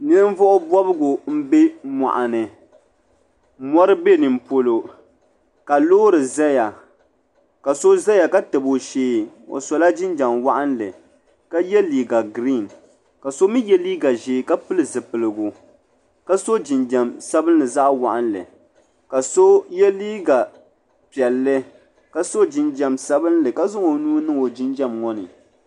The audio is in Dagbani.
Ninvuɣu bobgu m be moɣuni mori be nimpolo k. loori zaya ka so zaya ka tabi o shee o sola jinjiɛm waɣinli ka ye liiga girin ka so mi gba ye liiga ʒee ka pili zipiligu ka so jinjiɛm sabimli zaɣa waɣinli ka so ye liiga piɛlli ka so jinjiɛm sabinli ka zaŋ o nuu niŋ o jinjiɛm ŋɔ ni.